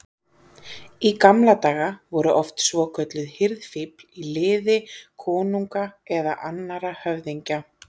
Í gamla daga voru oft svokölluð hirðfífl í liði konunga eða annarra höfðingja.